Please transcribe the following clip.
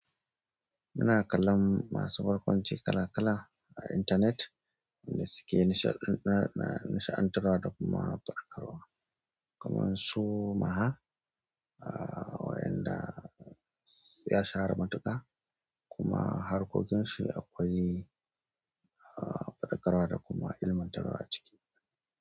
Muna kallon masu barkwanci kala kala a intanet da suke nisha-nisha-nishe'antawa da kuma faɗakarwa. Kuma su maha, a wa'yanda ya shahara matuƙa kuma harkokin shi akwai faɗakarwa da kuma ilmantarwa ciki.